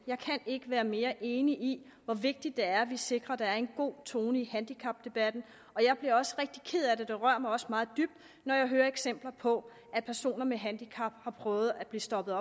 jeg kan ikke være mere enig i hvor vigtigt det er at vi sikrer at der er en god tone i handicapdebatten jeg bliver også rigtig ked af det og det rører mig også meget dybt når jeg hører eksempler på at personer med handicap har prøvet at blive stoppet